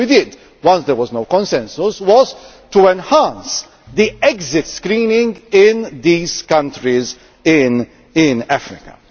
So what we did, as there was no consensus, was to enhance the exit screening in these countries in Africa.